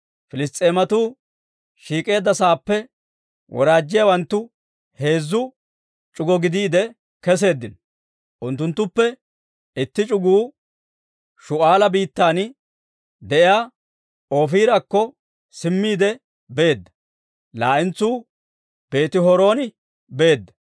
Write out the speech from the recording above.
Piliss's'eematuu shiik'eedda sa'aappe woraajjiyaawanttu heezzu c'ugo gidiide keseeddino; unttuttuppe itti c'uguu Shu'aala biittan de'iyaa Oofirakko simmiide beedda; laa"entsuu Beeti-Horooni beedda;